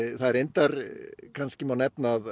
það er reyndar má nefna að